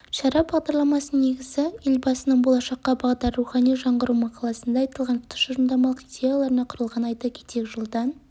шара бағдарламасының негізі елбасының болашаққа бағдар рухани жаңғыру мақаласында айтылған тұжырымдамалық идеяларына құрылған айта кетейік жылдан